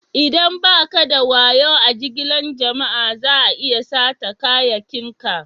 Idan ba ka da wayo a jigilan jama'a, za'a iya sata kayakin ka.